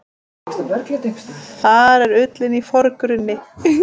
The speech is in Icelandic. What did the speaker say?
Þar er ullin í forgrunni.